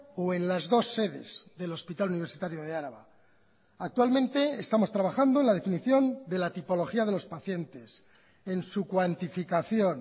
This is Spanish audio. o en las dos sedes del hospital universitario de araba actualmente estamos trabajando en la definición de la tipología de los pacientes en su cuantificación